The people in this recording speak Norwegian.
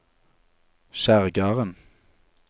Kjerrgarden